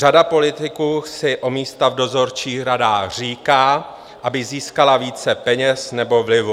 Řada politiků si o místa v dozorčích radách říká, aby získala více peněz nebo vlivu.